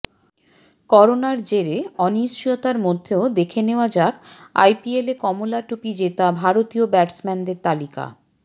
করোনার জেরে অনিশ্চয়তার মধ্যেও দেখে নেওয়া যাক আইপিএলে কমলা টুপি জেতা ভারতীয় ব্যাটসম্যানদের তালিকা